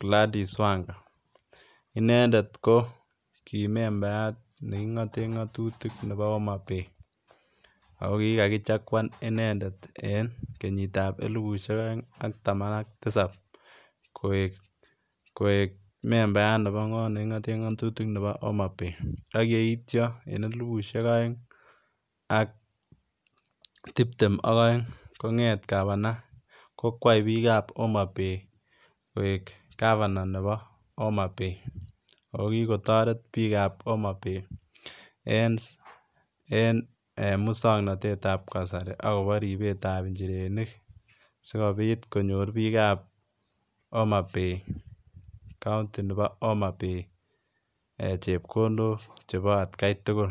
Gladys Wang'a, inendet ko kimembayat neking'oten ng'otutik neboo Homabay, ako kikakichakwan inendet en kenyitab elibushek oeng ak taman ak tisab koik membayat neboo koot neking'oten ng'otutik neboo Homabay, ak yeityo en elibushek oeng ak tibtem ak oeng kongeet gavana kokwai biikab Homabay koik gavana neboo Homabay, akokikotoret biikab Homabay en muswoknotetab kasari akoboribeetab inchirenik sikobit konyor biikab Homabay county neboo Homabay eeh chepkondok cheboo atkai tukul.